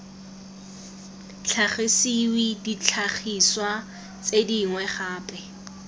tlhagisiwe ditlhagiswa tse dingwe gape